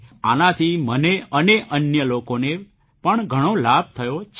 આનાથી મને અને અન્ય લોકોને પણ ઘણો લાભ થયો છે